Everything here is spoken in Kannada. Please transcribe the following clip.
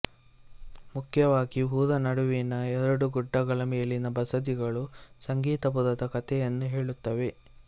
ಮುಖ್ಯವಾಗಿ ಊರ ನಡುವಿನ ಎರಡು ಗುಡ್ಡಗಳ ಮೇಲಿನ ಬಸದಿಗಳು ಸಂಗೀತಪುರದ ಕತೆಯನ್ನು ಹೆಳುತ್ತವೆ